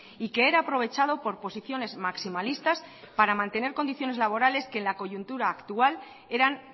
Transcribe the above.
y que era aprovechado por posiciones maximalistas para mantener condiciones laborales que en la coyuntura actual eran